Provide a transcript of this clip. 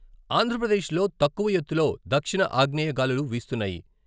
ఆంధ్రప్రదేశ్లో తక్కువ ఎత్తులో దక్షిణ ఆగ్నేయ గాలులు వీస్తున్నాయి.